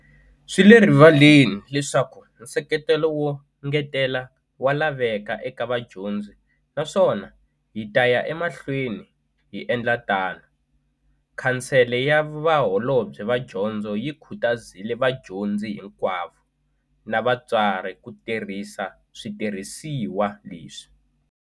Swi le rivaleni leswaku nseketelo wo ngetelela wa laveka eka vadyondzi naswona hi ta ya emahlweni hi endla tano. Khansele ya Vaholobye va Dyondzo yi khutazile vadyondzi hinkwavo na vatswari ku tirhisa switirhisiwa leswi.